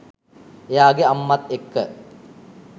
එයාගෙ අම්මත් එක්ක